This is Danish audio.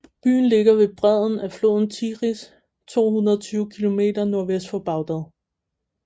Byen ligger ved bredden af floden Tigris 220 km nordvest for Bagdad